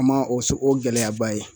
A ma o s o gɛlɛyaba ye